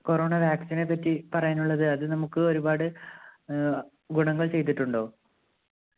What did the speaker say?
corona vaccine നേപ്പറ്റി പറയാനുള്ളത് അത് നമ്മുക്ക് ഒരുപാട് ആഹ് ഗുണങ്ങൾ ചെയ്തിട്ടുണ്ടോ